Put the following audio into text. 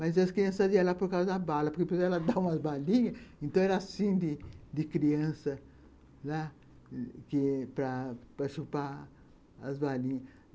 Mas as crianças iam lá por causa da bala, porque depois ela dava umas balinhas, então era assim de criança, para chupar as balinhas.